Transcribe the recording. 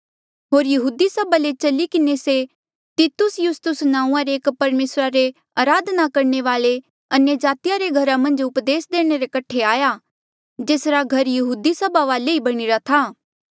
होर यहूदी सभा ले चली किन्हें से तितुस युस्तुस नांऊँआं रे एक परमेसरा रे अराधना करणे वाल्ऐ अन्यजाति रे घरा मन्झ उपदेस देणे रे कठे आया जेसरा घर यहूदी सभा वाले ही बणीरा था